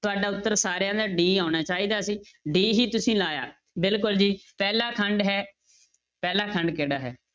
ਤੁਹਾਡਾ ਉੱਤਰ ਸਾਰਿਆਂ ਦਾ d ਆਉਣਾ ਚਾਹੀਦਾ ਸੀ d ਹੀ ਤੁਸੀਂ ਲਾਇਆ, ਬਿਲਕੁਲ ਜੀ ਪਹਿਲਾ ਖੰਡ ਹੈ ਪਹਿਲਾ ਖੰਡ ਕਿਹੜਾ ਹੈ?